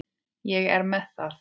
Ég er með það.